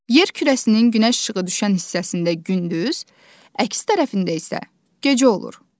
Yer kürəsinin günəş işığı düşən hissəsində gündüz, əks tərəfində isə gecə olur.